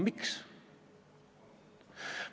Miks?